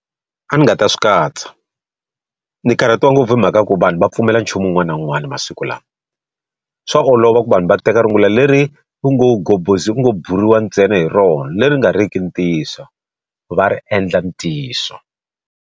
A ndzi nga ta swi katsa. Ni karhatiwa ngopfu hi mhaka ku vanhu va pfumela nchumu wun'wana na wun'wana masiku lawa. Swa olova ku vanhu va teka rungula leri ku ngo ku ngo buriwa ntsena hi rona leri nga ri ki ntiyiso, va ri endla ntiyiso.